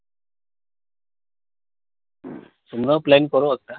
তোমরাও plan করো একটা